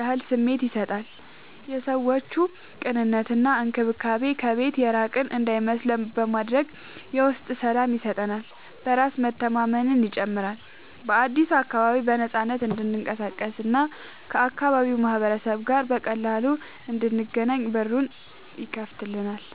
ያህል ስሜት ይሰጣል፦ የሰዎቹ ቅንነት እና እንክብካቤ ከቤት የራቅን እንዳይመስለን በማድረግ የውስጥ ሰላም ይሰጠናል። በራስ መተማመንን ይጨምራል፦ በአዲሱ አካባቢ በነፃነት እንድንቀሳቀስ እና ከአካባቢው ማህበረሰብ ጋር በቀላሉ እንድንገናኝ በሩን ይከፍትልናል።